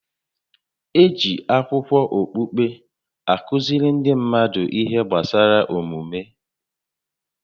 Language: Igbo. Eji akụkọ okpukpe a kụziri ndị mmadụ ihe gbasara omume